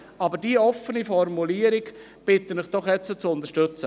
Ich bitte Sie, diese doch offene Formulierung jetzt zu unterstützen.